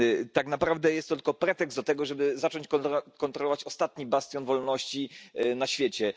Tak naprawdę jest to tylko pretekst do tego, żeby zacząć kontrolować ostatni bastion wolności na świecie.